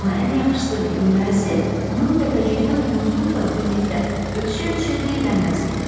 Amma ən yaxşısı və gülməlisi onun təpəcikdən Muzluqla birlikdə ötüşə-ötüşə diyirlənməsi idi.